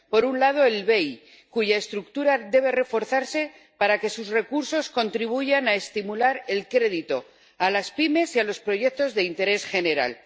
Por un lado, el BEI, cuya estructura debe reforzarse para que sus recursos contribuyan a estimular el crédito a las pymes y a los proyectos de interés general.